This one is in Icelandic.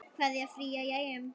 Kveðja, Fríða í Eyjum